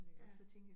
Ja